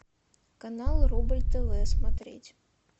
канал рубль тв смотреть